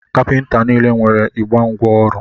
Kapịnta niile nwere igbe ngwa ọrụ.